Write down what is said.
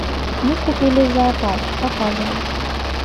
мы купили зоопарк показывай